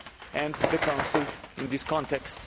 and the Council in this context.